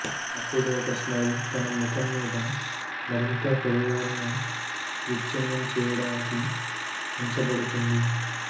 అప్పుడు ఒక స్మైల్ తన ముఖం మీద మరింత హృదయాలను విచ్ఛిన్నం చేయడానికి ఉంచబడుతుంది